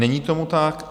Není tomu tak.